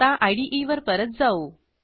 आता इदे वर परत जाऊ